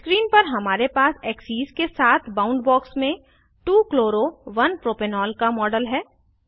screen पर हमारे पास एक्सेस के साथ बाउंडबॉक्स में 2 chloro 1 प्रोपेनॉल का मॉडल है